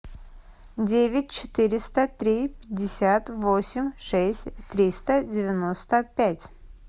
девять четыреста три пятьдесят восемь шесть триста девяносто пять